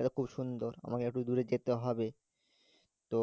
এটা খুব সুন্দর আমাকে এত দূরে যেতে হবে তো